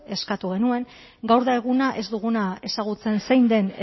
eskatu genuen gaur da eguna ez duguna ezagutzen zein den